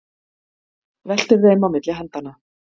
Veltir þeim á milli handanna.